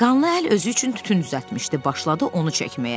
Qanlı əl özü üçün tütün düzəltmişdi, başladı onu çəkməyə.